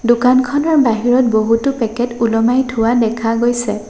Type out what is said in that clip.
দোকানখনৰ বাহিৰত বহুতো পেকেট ওলমাই থোৱা দেখা গৈছে।